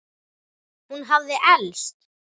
Hún hafði elst.